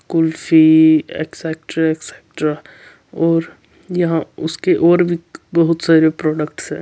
कुल्फी और यहां उसके और भी बहुत सारे प्रोडक्ट्स है।